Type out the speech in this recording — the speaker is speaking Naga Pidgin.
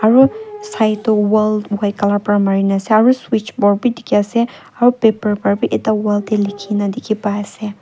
aru saitu wall white colour para mari ni ase aru switch box bhi dekhi ase aru paper para bhi ekta wall te lekhi kina dekhi pai ase.